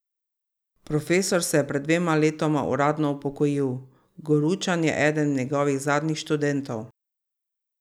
Profesor se je pred dvema letoma uradno upokojil, Goručan je eden njegovih zadnjih študentov.